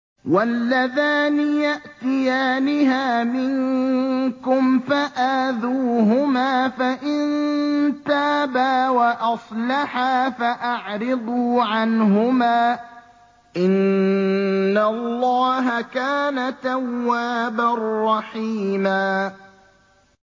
وَاللَّذَانِ يَأْتِيَانِهَا مِنكُمْ فَآذُوهُمَا ۖ فَإِن تَابَا وَأَصْلَحَا فَأَعْرِضُوا عَنْهُمَا ۗ إِنَّ اللَّهَ كَانَ تَوَّابًا رَّحِيمًا